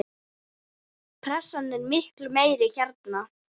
Pressan er miklu meiri hérna.